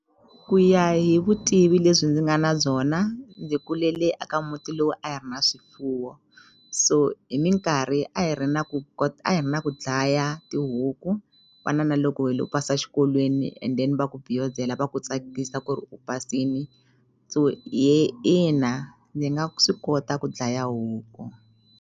Ku ya hi vutivi lebyi ndzi nga na byona ndzi kulele aka muti lowu a hi ri na swifuwo so hi minkarhi a hi ri na ku a hi ri na ku dlaya tihuku fana na loko hilo pasa xikolweni and then va ku va ku tsakisa ku ri u pasini so ina ni nga swi kota ku dlaya huku.